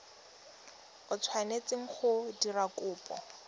o tshwanetseng go dira kopo